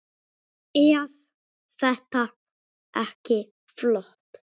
Eð þetta ekki flott?